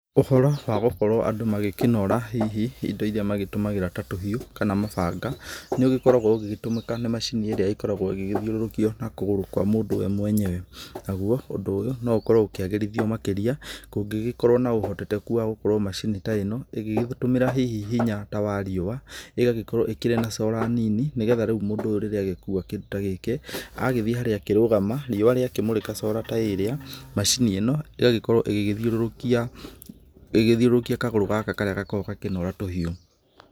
Ũhoro wa gũkorwo andũ magĩkĩnora hihi indo irĩa magĩtũmagĩra ta tũhiũ, kana mabanga, nĩ ũgĩgĩkoragwo ũgĩgĩtũmĩka nĩ macini ĩrĩa ĩkoragwo ĩgĩgĩthiũrũrũkio na kũgũrũ kwa mũndũ we mwenyewe. Naguo ũndũ ũyũ no ũkoragwo ũkĩagĩrithio makĩrĩa kũngĩgĩkorwo na ũhoteteku wa gũkorwo macini ta ĩno ĩgĩgĩtũmĩra hihi hinya ta wa riũa, ĩgagĩkorwo ĩkĩrĩ na cora nini, nĩgetha rĩu mũndũ ũyũ rĩrĩa agĩkua kĩndũ ta gĩkĩ, agagĩthiĩ harĩa akĩrugama riũa rĩakĩmũrĩka cora ta ĩrĩa macini ĩno ĩgakorwo ĩgĩgĩthiũrũrũkia kagũrũ gaka karĩa gakoragwo gakĩnora tũhiũ.